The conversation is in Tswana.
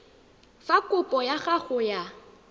fa kopo ya gago ya